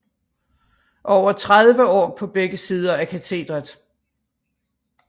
Over tredive år på begge sider af katedret